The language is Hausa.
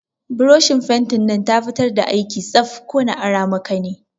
Buroshin fentin nan ta fitar da aiki tsaf, ko na ara maka ne?